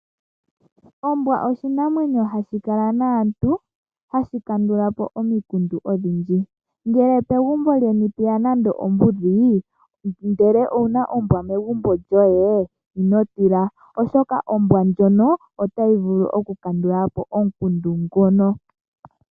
Ombwa oshinamwenyo hashi kala naantu hashi kandula po omikundu odhindji. Ngele pegumbo lyeni pweya nando ombudhi ndele owuna ombwa megumbo lyoye ino tila oshoka ombwa otayi vulu okukandula po omukundu ngono.